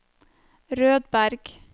Rødberg